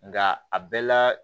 Nka a bɛɛ la